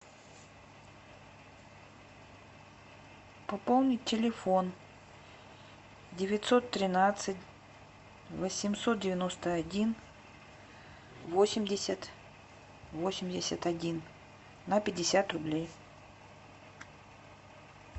пополнить телефон девятьсот тринадцать восемьсот девяносто один восемьдесят восемьдесят один на пятьдесят рублей